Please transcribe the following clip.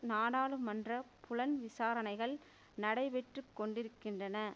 நாடாளுமன்ற புலன் விசாரணைகள் நடைபெற்றுக்கொண்டிருக்கின்றன